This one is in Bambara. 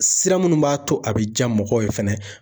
Sira munnu b'a to a be ja mɔgɔw ye fɛnɛ.